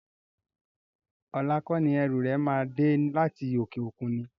Ọlá kọ́ni ẹrú rẹ máa dé láti òkè òkun ni?